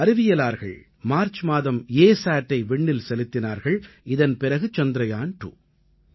நமது அறிவியலார்கள் மார்ச் மாதம் ASatஐ விண்ணில் செலுத்தினார்கள் இதன் பிறகு சந்திரயான் 2